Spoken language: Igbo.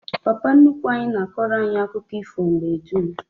Papa nnukwu anyi na akoro anyi akuko ifo mgbe dum